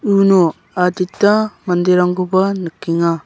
uno adita manderangkoba nikenga.